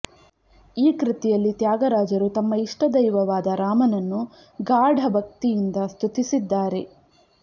ಈ ಕೃತಿಯಲ್ಲಿ ತ್ಯಾಗರಾಜರು ತಮ್ಮ ಇಷ್ಟದೈವವಾದ ರಾಮನನ್ನು ಗಾಢ ಭಕ್ತಿಯಿಂದ ಸ್ತುತಿಸಿದ್ದಾರೆ